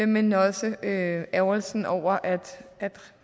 men også ærgrelsen over at